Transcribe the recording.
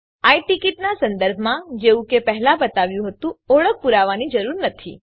આઈ ticket નાં સંદર્ભમાં જેવું કે પહેલાં બતાવ્યું હતું ઓળખ પુરાવાંની જરૂર નથી